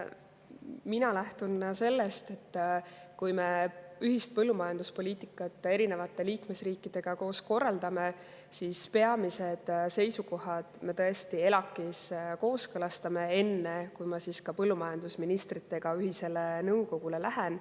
Mina lähtun sellest, et kui me ühist põllumajanduspoliitikat teiste liikmesriikidega koos korraldame, siis peamised seisukohad me tõesti kooskõlastame ELAK‑is, enne kui ma põllumajandusministrite ühisele nõukogule lähen.